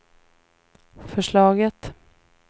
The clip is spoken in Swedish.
förslaget